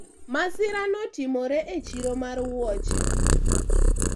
masira notimore e chiro mar wuoche